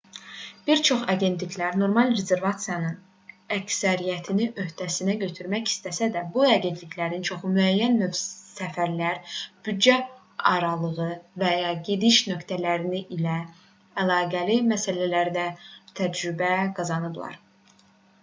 bir çox agentliklər normal rezervasiyaların əksəriyyətini öhdəsinə götürmək istəsələr də bu agentliklərin çoxu müəyyən növ səfərlər büdcə aralığı və ya gediş nöqtələri ilə əlaqəli məsələlərdə təcrübə qazanıblar